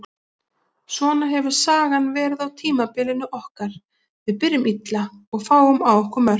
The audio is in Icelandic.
Svona hefur sagan verið á tímabilinu okkar, við byrjum illa og fáum á okkur mörk.